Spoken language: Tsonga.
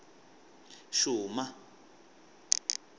xuma